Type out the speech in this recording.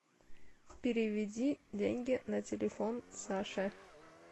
переведи деньги на телефон саше